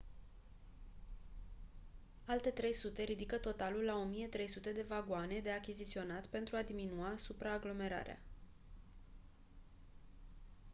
alte 300 ridică totalul la 1300 de vagoane de achiziționat pentru a diminua supraaglomerarea